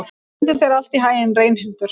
Gangi þér allt í haginn, Reynhildur.